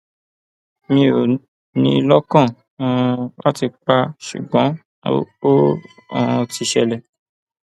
mi ò ní in lọkàn um láti pa á ṣùgbọn ó um ti ṣẹlẹ